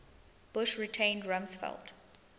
bush retained rumsfeld